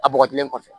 A bɔgɔjilen kɔfɛ